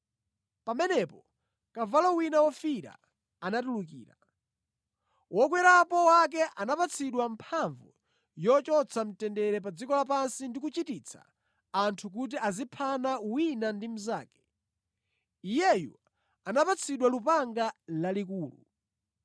Pamenepo kavalo wina wofiira anatulukira. Wokwerapo wake anapatsidwa mphamvu yochotsa mtendere pa dziko lapansi ndi kuchititsa anthu kuti aziphana wina ndi mnzake. Iyeyu anapatsidwa lupanga lalikulu.